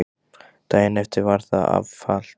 Daginn eftir var það var afhalt.